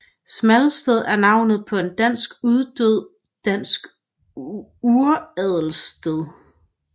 Smalsted er navnet på en dansk uddød dansk uradelsslægt